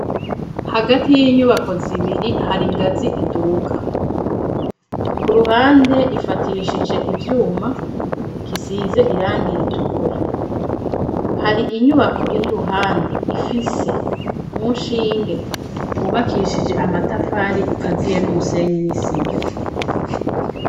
Hagati y'inyubako zibiri hari ingazi idubuga ku ruhande ifatishije ibyuma kisize irangi iritukura hari inyubako iri ruhande ifise umushinge bubakishije amatafari ukaziye n'umusenyi nisima